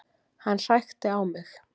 Hann hrækti á mig